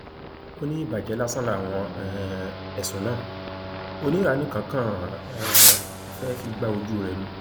ó ní ìbàjẹ lásán làwọn um ẹsùn náà oníranìkẹn kan um fẹẹ fi gba ojúure ni